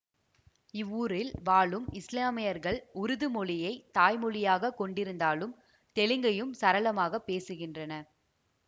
இவ்வூரில் வாழும் இசுலாமியர்கள் உருது மொழியை தாய்மொழியாகக் கொண்டிருந்தாலும் தெலுங்கையும் சரளமாக பேசுகின்றனர்